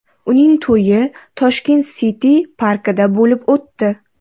Uning to‘yi Tashket City parkida bo‘lib o‘tdi.